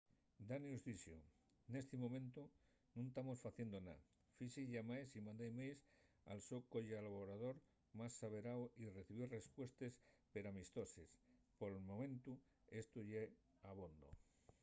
danius dixo nesti momentu nun tamos faciendo nada. fixi llamaes y mandé emails al so collaborador más averáu y recibí respuestes peramistoses. pel momentu esto ye abondo